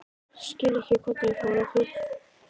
Skil ekki hvernig ég fór að því.